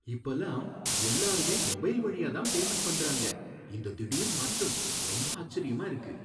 இப்பலாம் எல்லாருமே மொபைல் வழியா தான் பேமண்ட் பண்றாங்க, இந்த திடீர் மாற்றம் ரொம்ப ஆச்சரியமா இருக்கு